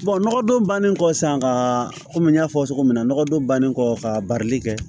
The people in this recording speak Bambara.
nɔgɔdon bannen kɔ san ka kɔmi n y'a fɔ cogo min na nɔgɔ don bannen kɔfɛ ka barili kɛ